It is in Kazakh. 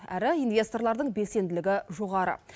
әрі инвесторлардың белсенділігі жоғары